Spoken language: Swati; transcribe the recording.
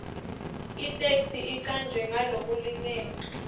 itheksthi icanjwe ngalokulingene